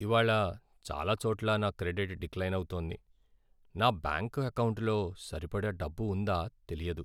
ఇవాళ్ళ చాలా చోట్ల నా క్రెడిట్ డిక్లైన్ అవుతోంది. నా బ్యాంకు ఎకౌంటులో సరిపడా డబ్బు ఉందా తెలియదు.